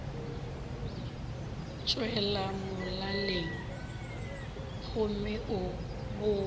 tšwela molaleng gomme o bolela